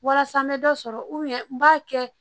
Walasa n bɛ dɔ sɔrɔ n b'a kɛ